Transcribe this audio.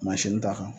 Mansin ta kan